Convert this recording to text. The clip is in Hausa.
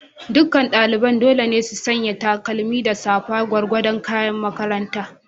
Duk ɗalibai dole ne su sanya takalma da safa, gwargwadon kayan makaranta.